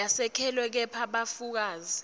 yesekelwe kepha bufakazi